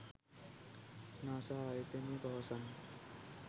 NASA ආයතනය පවසන්නේ